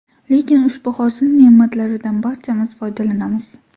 Lekin ushbu hosil ne’matlaridan barchamiz foydalanamiz.